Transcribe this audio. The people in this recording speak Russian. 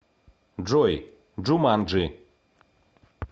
джой джуманджи